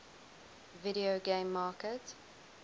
video game market